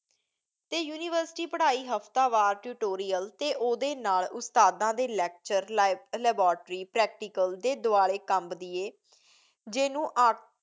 ਅਤੇ ਯੂਨੀਵਰਸਿਟੀ ਪੜ੍ਹਾਈ ਹਫ਼ਤਾ ਵਾਰ tutorial ਅਤੇ ਉਹਦੇ ਨਾਲ਼ ਉਸਤਾਦਾਂ ਦੇ lecture, li~, laboratory, practical ਦੇ ਦੁਆਲੇ ਕਮਦੀ ਏ ਜਿਹਨੂੰ ਆਕ